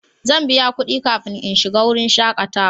Zan biya kudi kafin in shiga wurin shakatawa.